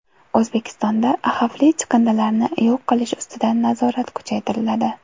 O‘zbekistonda xavfli chiqindilarni yo‘q qilish ustidan nazorat kuchaytiriladi.